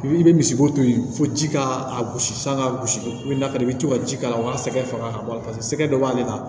I bi i bɛ misi bo to yen fo ji ka a gosi san ka gosi i na fɛnɛ i bi to ka ji k'a la walasa faga ka bɔ a la paseke sɛgɛ dɔ b'ale la